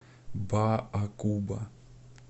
баакуба